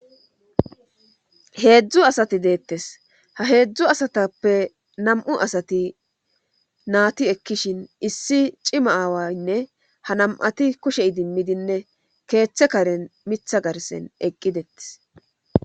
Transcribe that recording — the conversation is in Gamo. heedzdzu asati deettes ha heedzdzu asatappe nam7u asati naati ekkishin issi cima aawaynne ha nam7ati kushey dimmidinne keeththe karen mitha garsen eqqidettes